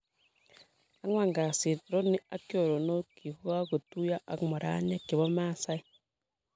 Angwan kasit, Rooney ak choronokyik kagotuiyo ak moraniek che bo masaek.